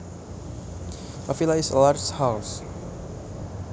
A villa is a large house